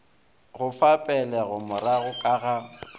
go fa pegelomorago ka ga